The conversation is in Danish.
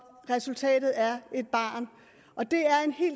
resultat der er